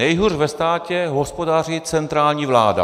Nejhůř ve státě hospodaří centrální vláda.